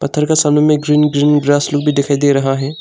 पत्थर का सामने में ग्रीन ग्रीन ग्रास लुक लोग दिखाई दे रहा है।